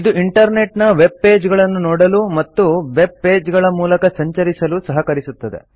ಇದು ಇಂಟರ್ನೆಟ್ನ web page ಗಳನ್ನು ನೋಡಲು ಮತ್ತು ವೆಬ್ ಪೇಜ್ಗಳ ಮೂಲಕ ಸಂಚರಿಸಿಲು ಸಹಕರಿಸುತ್ತದೆ